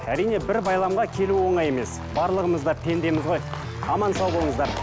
әрине бір байламға келу оңай емес барлығымыз да пендеміз ғой аман сау болыңыздар